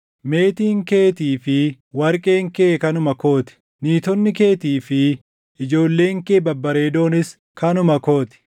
‘Meetiin keetii fi warqeen kee kanuma koo ti; niitonni keetii fi ijoolleen kee babbareedoonis kanuma koo ti.’ ”